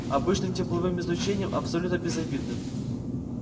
обычным тепловым излучением абсолютно безобидным